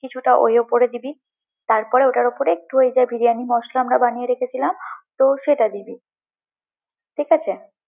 কিছুটা ওই উপরে দিবি, তারপরে ঐটার উপরে ওই যে বিরিয়ানি মসলা আমরা বানিয়ে রেখেছিলাম, তো সেটা দিবি, ঠিক আছে?